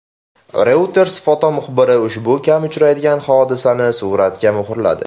Reuters fotomuxbirlari ushbu kam uchraydigan hodisani suratlarga muhrladi .